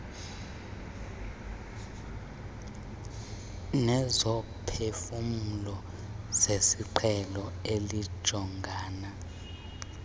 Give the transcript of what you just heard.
nezomphefumlo zesiqhelo elijongana